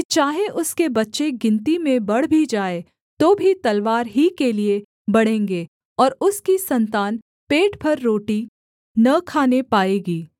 चाहे उसके बच्चे गिनती में बढ़ भी जाएँ तो भी तलवार ही के लिये बढ़ेंगे और उसकी सन्तान पेट भर रोटी न खाने पाएगी